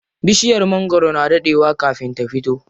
Bishiyar magwaro na daɗe wa kafin ta fito.